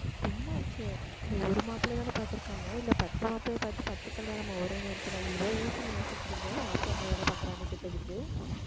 என்னாச்சு ஒரு மாப்பிள்ளைதானே பார்த்திருக்காங்க இல்லை பத்து மாப்பிள்ளைய பார்த்து பத்து கல்யாணமா ஒரே நேரத்துல இவ்வளவு யோசனை யோசிக்கிறீங்க மாப்ள என்ன வேலை பார்க்கிறான்னு கேட்டதுக்கு